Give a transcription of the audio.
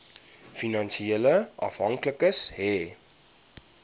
finansiële afhanklikes hê